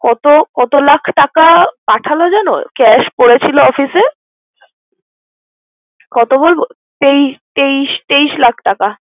অত অত লাখ টাকা পাঠাল জানো? cash করেছিল অফিসে কত বল তেইশ তেইশ তেইশ লাখ টাকা।